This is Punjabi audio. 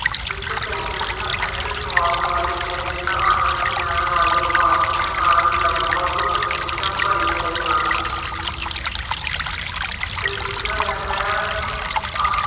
ਵਿੱਚ ਭੋਜਨ ਇਸ ਸੁਆਦ ਵਾਲੇ ਭੋਜਨ ਦਾ ਆਨੰਦ ਲੈ ਵਾਲੇ ਭਾਰਤੀਆਂ ਨਾਲ ਲਗਭਗ ਹਮੇਸ਼ਾ ਭਰੇ ਹੋਏ ਹਨ। ਅਤੇ ਦੂਜਾ ਹੈਗਾ